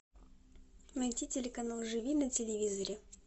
найти телеканал живи на телевизоре